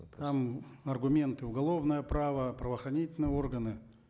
там аргументы уголовное право правоохранительные органы